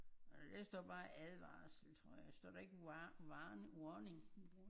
Når der står bare advarsel tror jeg står der ikke war war warning?